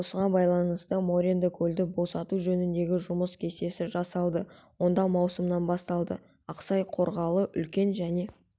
осыған байланысты моренді көлді босату жөніндегі жұмыс кестесі жасалды онда маусымнан басталды ақсай қарғалы үлкен және